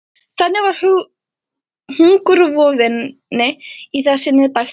Þannig var hungurvofunni í það sinnið bægt frá.